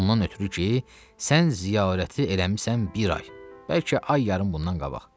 Ondan ötrü ki, sən ziyarəti eləmisən bir ay, bəlkə ay yarım bundan qabaq.